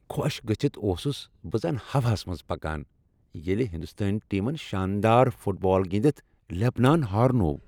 خۄش گژھِتھ اوسُس بہ زنَ ہوہَس منٛز پکان ییٚلہ ہنٛدوستٲنۍ ٹیمن شاندار فٹ بال گنٛدتھ لبنان ہارنوو۔